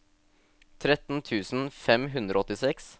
tretten tusen fem hundre og åttiseks